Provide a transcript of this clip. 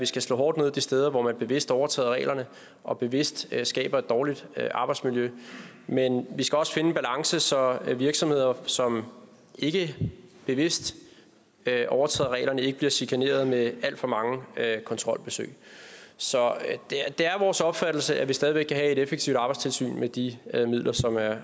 vi skal slå hårdt ned de steder hvor man bevidst overtræder reglerne og bevidst skaber et dårligt arbejdsmiljø men vi skal også finde en balance så virksomheder som ikke bevidst overtræder reglerne ikke bliver chikaneret med alt for mange kontrolbesøg så det er vores opfattelse at vi stadig væk kan have et effektivt arbejdstilsyn med de midler som er